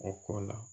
O kɔ la